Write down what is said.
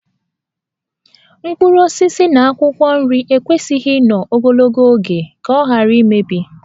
Mkpụrụ osisi na akwụkwọ nri ekwesịghị ịnọ ogologo oge ka ọ ghara imebi